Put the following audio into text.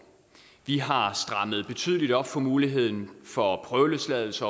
vi har strammet betydeligt op over for muligheden for prøveløsladelse